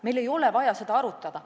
Meil ei ole vaja seda arutada.